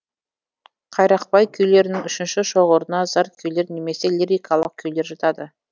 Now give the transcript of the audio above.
қайрақбай күйлерінің үшінші шоғырына зар күйлер немесе лирикалық күйлер жатады